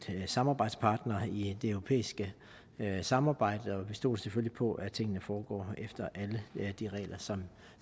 samarbejdspartner i det europæiske samarbejde og vi stoler selvfølgelig på at tingene foregår efter alle de regler som